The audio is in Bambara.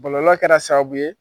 Bɔlɔlɔ kɛra sababu ye